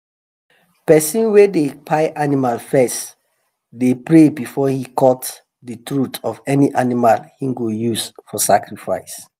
person wey dey kpai animal first dey pray before he cut the throat of any animal he go use for sacrifice.